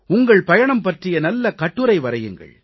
உங்கள் பயணம் பற்றிய நல்ல கட்டுரை வரையுங்கள்